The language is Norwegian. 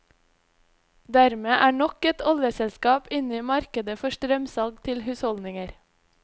Dermed er nok et oljeselskap inne i markedet for strømsalg til husholdninger.